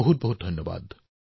অশেষ ধন্যবাদ